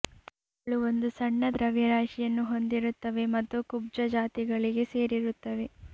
ಅವುಗಳು ಒಂದು ಸಣ್ಣ ದ್ರವ್ಯರಾಶಿಯನ್ನು ಹೊಂದಿರುತ್ತವೆ ಮತ್ತು ಕುಬ್ಜ ಜಾತಿಗಳಿಗೆ ಸೇರಿರುತ್ತವೆ